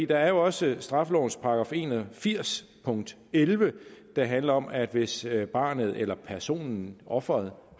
der er jo også straffelovens § en og firs punkt elleve der handler om at hvis barnet eller personen offeret